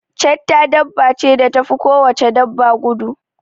chetta dabba ce da tafi ko wace dabba gudu